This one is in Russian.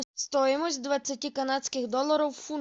стоимость двадцати канадских долларов в фунтах